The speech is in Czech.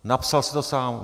Napsal si to sám.